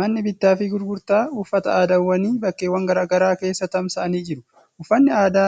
Manni bittaa fi gurgurtaa uffata aadaawwanii bakkeewwan gara garaa keessa tamsa'anii jiru. Uffanni aadaa